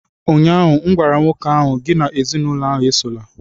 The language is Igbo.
ụnyahụ m gwara nwoke ahụ, gị na ezinụlọ ahụ esola!